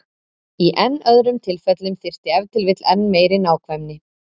Í enn öðrum tilfellum þyrfti ef til vill enn meiri nákvæmni.